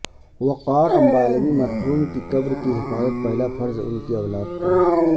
وقار انبالوی مرحوم کی قبرکی حفاظت پہلا فرض انکی اولاد کا